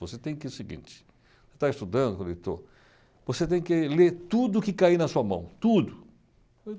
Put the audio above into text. Você tem que ir o seguinte, você está estudando, falei, estou. Você tem que ler tudo o que cair na sua mão, tudo.